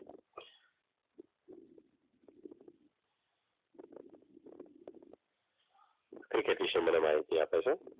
Cricket વિશે મને માહિતી આપે છે.